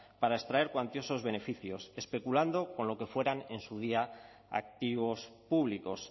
para extraer cuantiosos beneficios especulando con lo que fueran en su día activos públicos